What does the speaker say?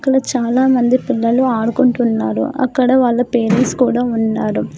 ఇక్కడ చాలామంది పిల్లలు ఆడుకుంటున్నాడు అక్కడ వాళ్ళ పేరెంట్స్ కూడా ఉన్నాడు.